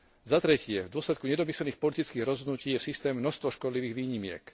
Po tretie, v dôsledku nedomyslených politických rozhodnutí je v systéme množstvo škodlivých výnimiek.